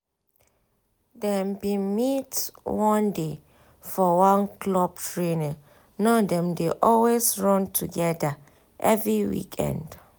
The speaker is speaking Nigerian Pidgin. dem bin meet one day for one club training now dem dey always run together every weekend